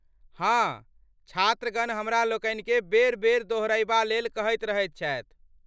हाँ, छात्रगण हमरालोकनिकेँ बेर बेर दोहरयबाक लेल कहैत रहैत छथि।